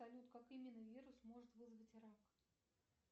салют как именно вирус может вызвать рак